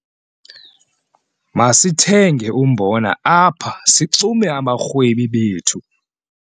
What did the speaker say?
Masithenge umbona apha sixume abarhwebi bethu.